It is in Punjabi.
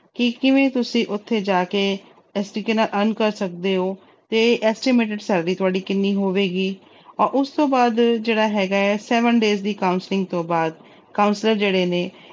ਕਿ ਕਿਵੇਂ ਤੁਸੀਂ ਉੱਥੇ ਜਾ ਕੇ ਇਸ ਤਰੀਕੇ ਨਾਲ earn ਕਰ ਸਕਦੇ ਹੋ ਤੇ estimated salary ਤੁਹਾਡੀ ਕਿੰਨੀ ਹੋਵੇਗੀ ਅਹ ਉਸ ਤੋਂ ਬਾਅਦ ਜਿਹੜਾ ਹੈਗਾ ਹੈ seven days ਦੀ counselling ਤੋਂ ਬਾਅਦ counselor ਜਿਹੜੇ ਨੇ